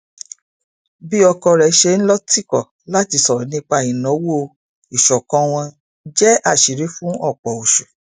bí ọkọ rẹ ṣe ń lọ tìkọ láti sọrọ nípa ìnáwó ìṣọkan wọn jẹ àṣírí fún ọpọ oṣù